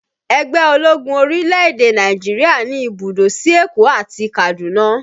Ẹgbẹ́ ológun orílẹ̀-èdè Nàìjíríà ní ibùdó sí Èkó àti Kaduna